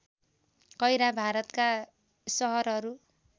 कैरा भारतका सहरहरू